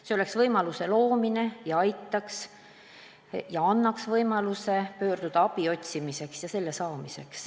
See oleks võimaluse loomine ja annaks võimaluse abi otsida ja seda saada.